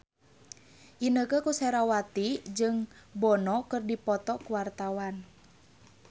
Inneke Koesherawati jeung Bono keur dipoto ku wartawan